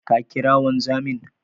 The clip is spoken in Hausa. Ka ƙira wanzamin?